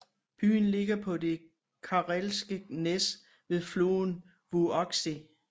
Byen ligger på det Karelske næs ved floden Vuoksi